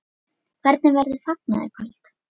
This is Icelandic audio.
Hvernig verður fagnað í kvöld?